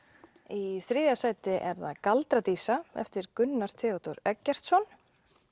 í þriðja sæti er það galdra dísa eftir Gunnar Theodór Eggertsson